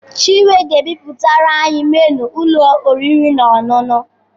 Chinwe ga-ebipụtara anyị menu ụlọ oriri na ọṅụṅụ.